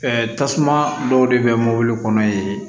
tasuma dɔw de bɛ mɔbili kɔnɔ yen